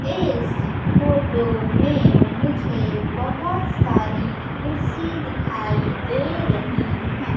इस फोटो में मुझे बहुत सारी कुर्सी दिखाई दे रही हैं।